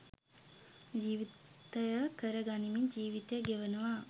ජීවිතය කර ගනිමින් ජීවිතය ගෙවනවා.